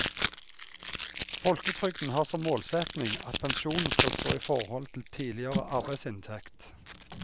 Folketrygden har som målsetning at pensjonen skal stå i forhold til tidligere arbeidsinntekt.